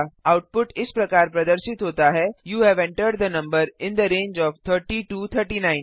output इस प्रकार प्रदर्शित होता है you have entered the number in the range of 30 to 39